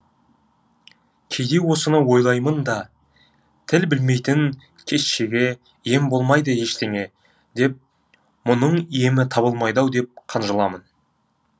кейде осыны ойлаймын да тіл білмейтін кещеге ем болмайды ештеңе деп мұның емі табылмайды ау деп қынжыламын